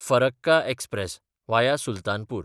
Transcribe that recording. Farakka express (via Sultanpur)